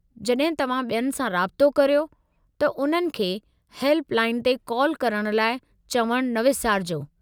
जॾहिं तव्हां ॿियनि सां राब्तो करियो, त उन्हनि खे हेल्प लाइन ते काल करण लाइ चवणु न विसारिजो।